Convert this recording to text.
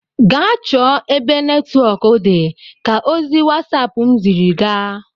Gaa chọọ ebe netwọk dị ka ozi wasap m sịrị gaa!